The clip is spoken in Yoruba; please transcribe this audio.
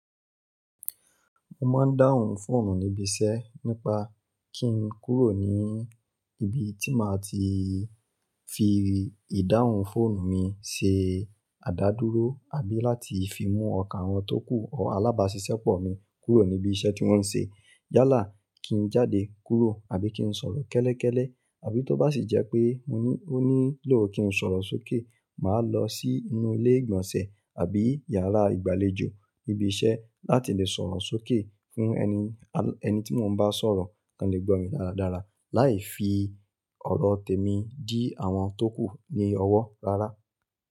Mo máa ń dáhùn fóònù níbi iṣẹ́ nípa kí n kúrò ní ibi tí màá ti fi ìdáhùn fóònù mi ṣe àdádúró àbí láti fi mú ọkà wọn tókù ọ alábáṣiṣẹ́pọ̀ mi kúrò níbi iṣẹ́ tí wọ́n ń ṣe. Yálà kí n jáde kúrò àbí kí n sọ̀rọ̀ kẹ́lẹ́kẹ́lẹ́. Àbí tó bá sì jẹ́ pé ó nílò kí n sọ̀rọ̀ sókè, màá lọ sí inú ilé ìgbọ̀nsẹ̀ àbí yàrá ìgbàlejò níbi iṣẹ́ láti lè sọ̀rọ̀ sókè fún ẹni tí mo bá ń sọ̀rọ̀ kan lè gbọ́ mi dáradára láì fi ọ̀rọ̀ tèmi dí àwọn tókù ní ọwọ́ rárá.